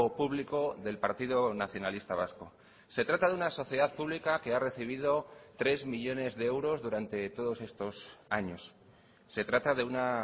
público del partido nacionalista vasco se trata de una sociedad pública que ha recibido tres millónes de euros durante todos estos años se trata de una